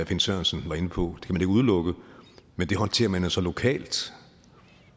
finn sørensen var inde på kan ikke udelukke men det håndterer man jo så lokalt